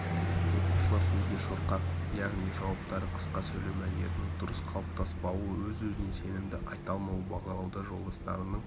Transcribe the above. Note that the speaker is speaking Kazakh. оқушылар сөзге шорқақ яғни жауаптары қысқа сөйлеу мәнерінің дұрыс қалыптаспауы өз-өзіне сенімді айта алмауы бағалауда жолдастарының